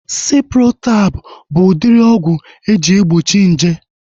Ciprotab bụ udiri ọgwụ eji egbochi nje